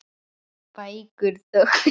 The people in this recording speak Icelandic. Bækur þöktu veggi.